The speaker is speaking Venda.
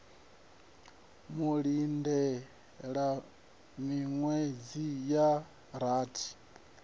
u lindela miṅwedzi ya rathi